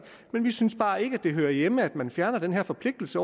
vi synes bare ikke at det hører nogen steder hjemme at man fjerner den her forpligtelse